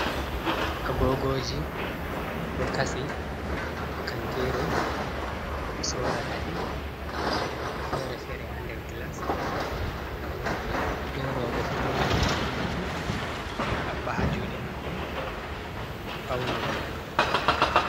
Agoogooji ɗo kasi haa kantiru ɓe soorata ɗi, ndaaɗi ɗo nonnde fere-fere haa nder Glas, worɓe bee rooɓe fuu ɗo naftira bee maaji, ɓe haɓɓa haa juuɗe maɓɓe, ɓe fawnoro bee man.